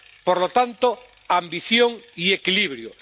Por lo tanto, ambición y equilibrio.